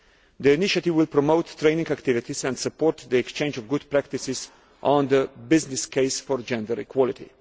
The initiative will promote training activities and support the exchange of good practices on the business case for gender equality.